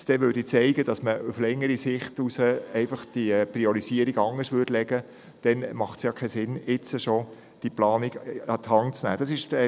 Für den Fall, dass man die Priorisierung später anders legt, macht es keinen Sinn, diese Planung bereits jetzt an die Hand zu nehmen.